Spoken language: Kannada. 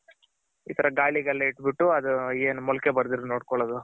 ಈ ತರ ಗಾಲಿಗೆಲ್ಲ ಇಟ್ ಬಿಟ್ಟು ಏನ್ ಮೊಳಕೆ ಬರ್ದಿರ ನೋಡ್ಕೊಳ್ಳೋದು.